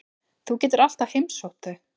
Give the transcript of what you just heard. Þú getur alltaf heimsótt þau.